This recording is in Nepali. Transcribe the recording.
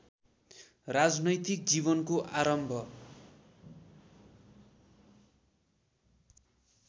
राजनैतिक जीवनको आरम्भ